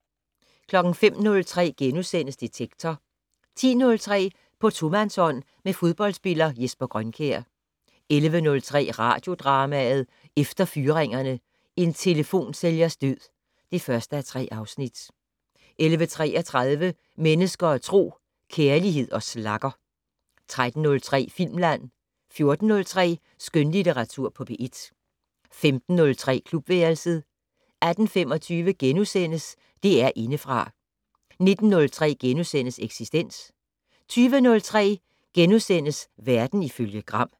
05:03: Detektor * 10:03: På tomandshånd med fodboldspiller Jesper Grønkjær 11:03: Radiodrama: Efter fyringerne: En telefonsælgers død (1:3) 11:33: Mennesker og Tro: Kærlighed og slagger 13:03: Filmland 14:03: Skønlitteratur på P1 15:03: Klubværelset 18:25: DR Indefra * 19:03: Eksistens * 20:03: Verden ifølge Gram *